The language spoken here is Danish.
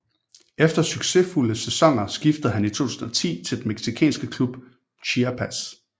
Efter succesfulde sæsoner skiftede han i 2010 til den mexicanske klub Chiapas